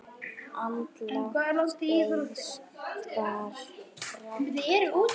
Andlát Eiðs bar brátt að.